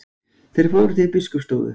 Þeir fóru til biskupsstofu.